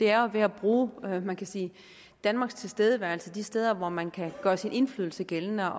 er ved at bruge man kan sige danmarks tilstedeværelse de steder hvor man kan gøre sin indflydelse gældende